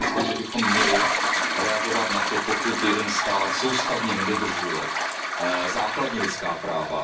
Já si myslím, že bychom měli reagovat na to, pokud jeden stát soustavně nedodržuje základní lidská práva.